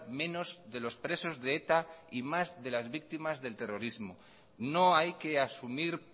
menos de los presos de eta y más de las víctimas del terrorismo no hay que asumir